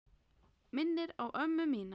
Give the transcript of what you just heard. Minnir á ömmu mína.